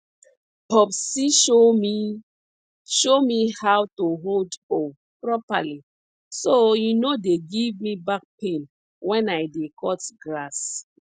popsi show me show me how to hold hoe properly so e no dey give me back pain when i dey cut grass